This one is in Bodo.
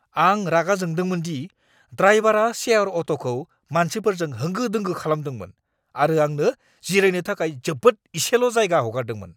आं रागा जोंदोंमोन दि ड्राइबारा शेयार अट'खौ मानसिफोरजों होंगो दोंगो खालामदोंमोन आरो आंनो जिरायनो थाखाय जोबोद एसेल' जायगा हगारदोंमोन।